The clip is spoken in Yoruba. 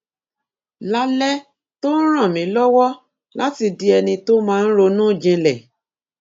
lálẹ tó ń ràn mí lówó láti di ẹni tó máa ń ronú jinlè